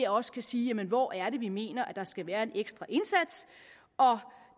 også kan sige jamen hvor er det vi mener at der skal være en ekstra indsats